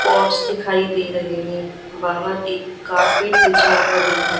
pots दिखाई दे रहे हैं बाहर एक कारपेट बिछा हुआ दिख रहा--